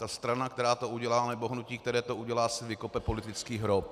Ta strana, která to udělá, nebo hnutí, které to udělá, si vykopou politický hrob.